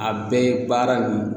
A bɛɛ ye baara nin